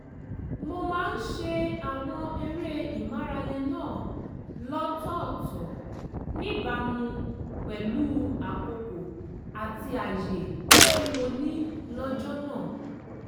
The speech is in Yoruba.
mo máa ń ṣe àwọn eré ìmárale náà lọ́tọ̀ọ̀tọ̀ níbàámu pẹ̀lú àkókò àti àyè tí mo ní lọ́jọ́ náà